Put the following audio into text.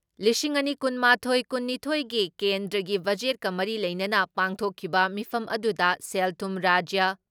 ꯂꯤꯁꯤꯡ ꯑꯅꯤ ꯀꯨꯟ ꯃꯥꯊꯣꯏ ꯀꯨꯟ ꯅꯤꯊꯣꯏ ꯒꯤ ꯀꯦꯟꯗ꯭ꯔꯒꯤ ꯕꯖꯦꯠꯀ ꯃꯔꯤ ꯂꯩꯅꯅ ꯄꯥꯡꯊꯣꯛꯈꯤꯕ ꯃꯤꯐꯝ ꯑꯗꯨꯗ ꯁꯦꯜ ꯊꯨꯝ ꯔꯥꯖ꯭ꯌ